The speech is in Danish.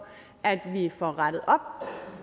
at vi får rettet op